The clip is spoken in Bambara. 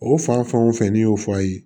O fan fɛn wo fɛn n'i y'o fɔ a ye